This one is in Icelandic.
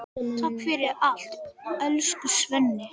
Takk fyrir allt, elsku Svenni.